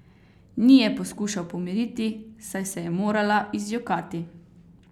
Ni je poskušal pomiriti, saj se je morala izjokati.